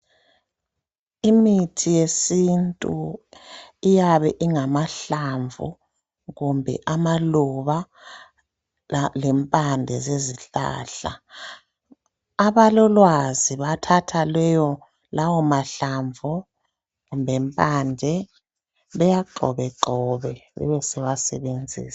Imithi yesintu iyabe ingamahlamvu kumbe amaluba lempande zezihlahla abalolwazi bathatha lawo mahlamvu lempande bewagxobegxobe besebewasebenzisa